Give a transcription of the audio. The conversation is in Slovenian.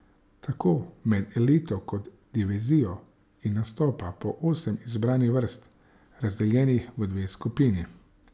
Tako med elito kot divizijo I nastopa po osem izbranih vrst, razdeljenih v dve skupini.